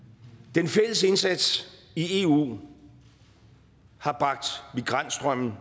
den fælles indsats i eu har bragt migrantstrømmen